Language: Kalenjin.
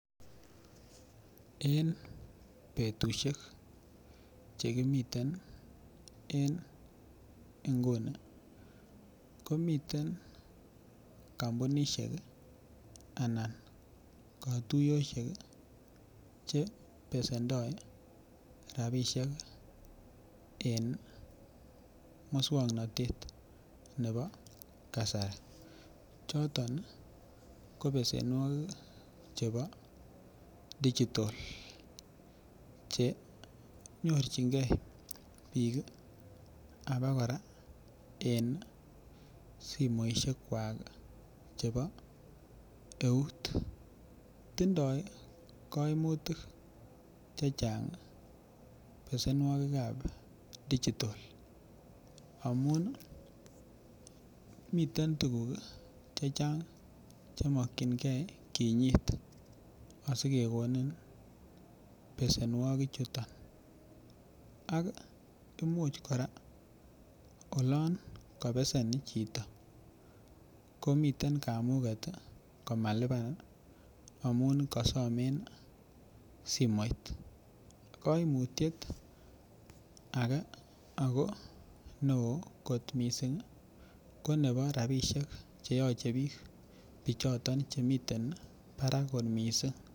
En betushek chekimiten en inguni ko miten komounishek anan kotushech chebesendo rabishek en muswoknotet nebo kasari choto ko besenuokik chebo digital chenyorchingee bik amakora en somoishek kwak chebo eut, timdo koimutik chechang besenuokik kab digital amun miten tukuk chechang chemokingee kinyit asikokonin besenuokik choto ak imuche koraa olon kobesen choto ko miten kamuget komalipan amun kosome simoit. Koimutye age ako neo missing ko nebo rabishek cheyoche bik bichotom chemiten barak kot missing.